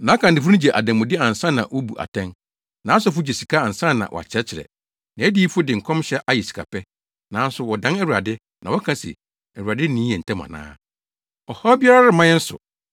Nʼakannifo no gye adanmude ansa na wobu atɛn, nʼasɔfo gye sika ansa na wɔakyerɛkyerɛ, nʼadiyifo de nkɔmhyɛ ayɛ sikapɛ. Nanso wɔdan Awurade, na wɔka se, “ Awurade nni yɛn ntam ana? Ɔhaw biara remma yɛn so.”